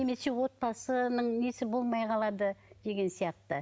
немесе отбасының несі болмай қалады деген сияқты